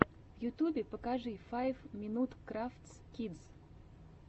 в ютьюбе покажи файв минут крафтс кидс